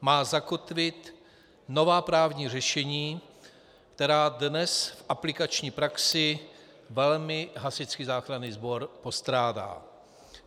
Má zakotvit nová právní řešení, která dnes v aplikační praxi velmi Hasičský záchranný sbor postrádá.